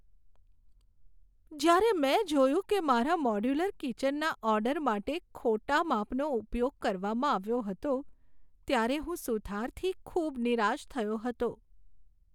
જ્યારે મેં જોયું કે મારા મોડ્યુલર કિચનના ઓર્ડર માટે ખોટા માપનો ઉપયોગ કરવામાં આવ્યો હતો, ત્યારે હું સુથારથી ખૂબ નિરાશ થયો હતો.